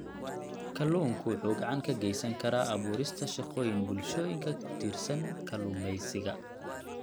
Kalluunku wuxuu gacan ka geysan karaa abuurista shaqooyin bulshooyinka ku tiirsan kalluumeysiga.